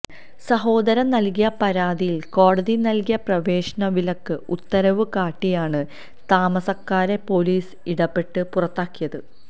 സഹോദരൻ നൽകിയ പരാതിയിൽ കോടതി നൽകിയ പ്രവേശനവിലക്ക് ഉത്തരവ് കാട്ടിയാണ് താമസക്കാരെ പോലീസ് ഇടപെട്ട് പുറത്താക്കിയത്